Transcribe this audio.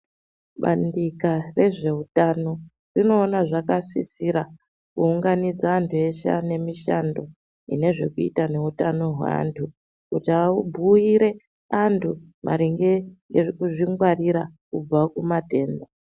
Bandika rezveutano rinoona zvakasisira kuunganidza vantu veshe ane mishando inozvekuita nehutano kuti kuti vabhuire vantu maringe ngekuzvingwarira kubva kumatenda .